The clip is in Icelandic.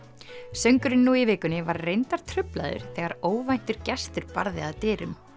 söngurinn nú í vikunni var reyndar truflaður þegar óvæntur gestur barði að dyrum